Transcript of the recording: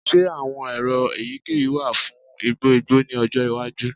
Ṣe awọn ero eyikeyi wa fun igbo igbo ni ọjọ iwaju?